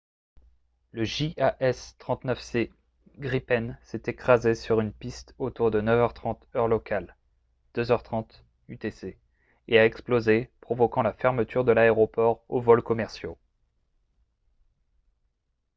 le jas 39c gripen s’est écrasé sur une piste autour de 9 h 30 heure locale 0230 utc et a explosé provoquant la fermeture de l’aéroport aux vols commerciaux